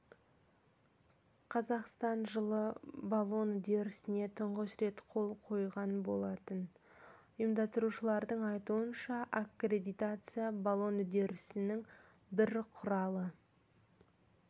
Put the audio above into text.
қазақстан жылы болон үрдісіне тұңғыш рет қол қойған болатын ұйымдастырушылардың айтуынша аккредитация балон үрдісінің бір құралы